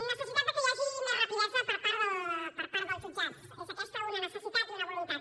necessitat de que hi hagi més rapidesa per part dels jutjats és aquesta una necessitat i una voluntat